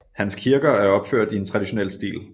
Hans kirker er opført i en traditionel stil